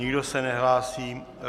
Nikdo se nehlásí.